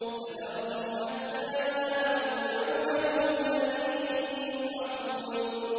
فَذَرْهُمْ حَتَّىٰ يُلَاقُوا يَوْمَهُمُ الَّذِي فِيهِ يُصْعَقُونَ